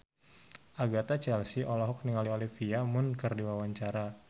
Agatha Chelsea olohok ningali Olivia Munn keur diwawancara